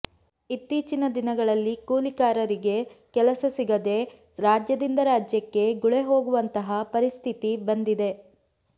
ಇತ್ತೀಚಿನ ದಿನಗಳಲ್ಲಿ ಕೂಲಿಕಾರರಿಗೆ ಕೆಲಸ ಸಿಗದೆ ರಾಜ್ಯದಿಂದ ರಾಜ್ಯಕ್ಕೆ ಗುಳೆಹೋಗುವಂತಹ ಪರಿಸ್ಥಿತಿ ಬಂದಿದೆ